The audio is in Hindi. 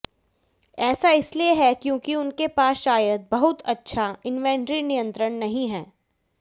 ऐसा इसलिए है क्योंकि उनके पास शायद बहुत अच्छा इन्वेंट्री नियंत्रण नहीं है